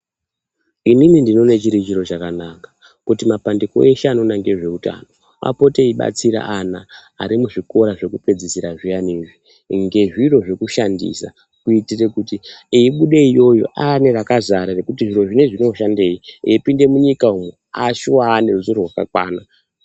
Inini ndinoona chiri chiro chakanaka kuti mapandiko eshe anoona nezveutano apote eibatsire ana ari muzvikora zvekupedzisira zviyana izvi ngezviro zvekushandisa kuitira kuti eibuda iyoyo ane rakazara rekuti zviro zvinezvi zvoshandei eipinda munyika ashuwa ane ruzivo rwakakwana.